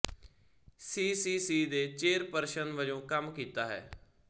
ਸੀ C C ਦੇ chairperson ਵਜੋਂ ਕੰਮ ਕੀਤਾ ਹੈ